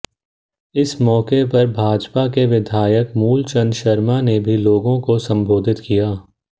इस मौके पर भाजपा के विधायक मूलचंद शर्मा ने भी लोगों को संबोधित किया